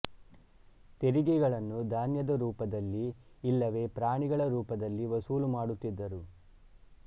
ತೆರಿಗೆಗಳನ್ನು ಧಾನ್ಯದ ರೂಪದಲ್ಲಿ ಇಲ್ಲವೇ ಪ್ರಾಣಿಗಳ ರೂಪದಲ್ಲಿ ವಸೂಲು ಮಾಡುತ್ತಿದ್ದರು